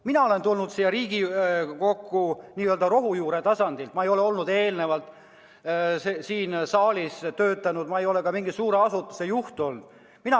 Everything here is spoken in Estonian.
Mina olen tulnud siia Riigikokku n-ö rohujuure tasandilt, ma ei ole enne siin saalis töötanud, ma ei ole ka mingi suure asutuse juht olnud.